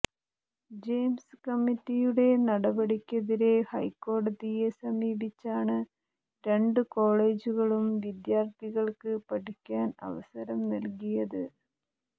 James കമ്മിറ്റിയുടെ നടപടിക്കെതിരെ ഹൈക്കോടതിയെ സമീപിച്ചാണ് രണ്ട് കോളേജുകളും വിദ്യാർത്ഥികൾക്ക് പഠിക്കാൻ അവസരം നൽകിയത്